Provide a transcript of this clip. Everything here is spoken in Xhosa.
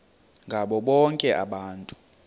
ngabo bonke abantu